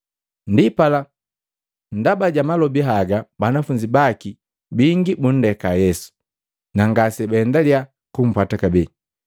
Ndipala ndaba ja malobi haga banafunzi baki bingi bundeka Yesu na ngase baendaliya kumpwata kabee.